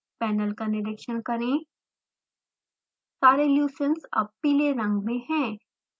panel का निरिक्षण करें सारे leucines अब पीले रंग में हैं